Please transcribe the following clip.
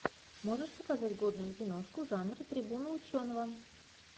можешь показать годную киношку жанра трибуна ученого